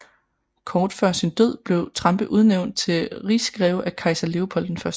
Kort før sin død blev Trampe udnævnt til rigsgreve af kejser Leopold I